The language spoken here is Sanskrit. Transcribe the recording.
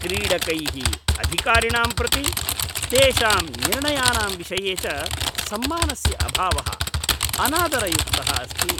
क्रीडकैः अधिकारिणां प्रति, तेषां निर्णयानां विषये च सम्मानस्य अभावः अनादरयुक्तः अस्ति।